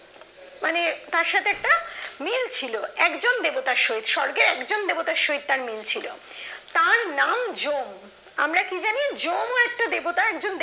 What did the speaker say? মানে তার সাথে একটা মিল ছিল একজন দেবতার সহিত স্বর্গের একজন দেবতার সহিত তার মিল ছিল তার নাম জম আমরা কি জানি জমও একটা দেবতা